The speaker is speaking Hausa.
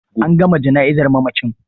An gama jana'izar mamacin.